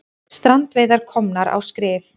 Strandveiðar komnar á skrið